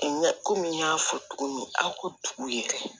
Ɲɛ kɔmi n y'a fɔ cogo min a ko tugu yɛrɛ